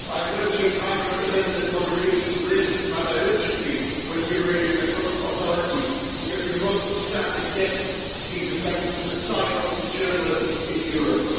I am urging High Representative Mogherini to raise this matter urgently with the Iranian authorities, because we must stand against these attempts to silence journalists in Europe.